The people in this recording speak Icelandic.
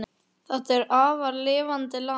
Þetta er afar lifandi land.